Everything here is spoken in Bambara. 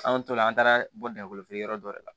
An tora an taara bɔ dakolo feere yɔrɔ dɔ de la